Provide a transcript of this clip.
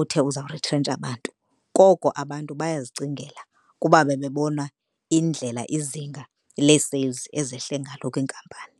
uthe uzawurithrentsha bantu, koko abantu bayazicingela kuba babebona indlela izinga le-sales ezehle ngalo kwinkampani.